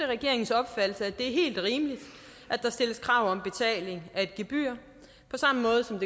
regeringens opfattelse at det er helt rimeligt at der stilles krav om betaling i af gebyr på samme måde som